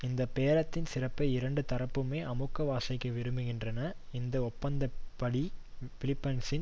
இந்த பேரத்தின் சிறப்பை இரண்டு தரப்புமே அமுக்கி வாசிக்க விரும்புகின்றன இந்த ஒப்பந்தப்படி பிலிப்பைன்சின்